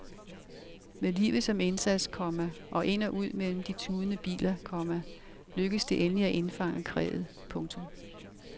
Med livet som indsats, komma og ind og ud mellem de tudende biler, komma lykkedes det endelig at indfange kræet. punktum